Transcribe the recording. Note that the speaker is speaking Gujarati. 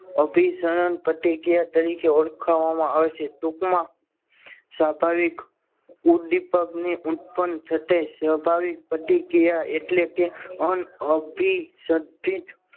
અભિસરણ પ્રતિક્રિયા તરીકે ઓળખાય છે ટૂંકમાં સ્વાભાવિક ઉદ્દીપકની સ્વાભાવિક પ્રતિક્રિયા એટલે કે અનઅભી સ